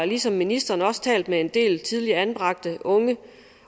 ligesom ministeren også har talt med en del tidligere anbragte unge